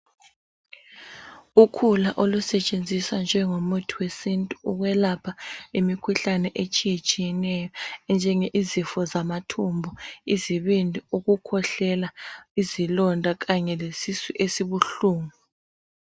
Ukhula olusetshenziswa njengo muthi wesintu ukulapha imikhuhlane etshiyetshiyeneyo enjenge izifo zama thumba izibindi ukukwehlela izilonda Kanye lesisu esibuhlungu.